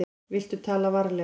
Viltu tala varlega.